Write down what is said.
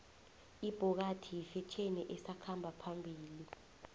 ibhokadi yifetjheni esakhamba phambili